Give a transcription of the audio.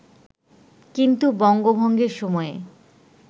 কিন্তু বঙ্গভঙ্গের সময়ে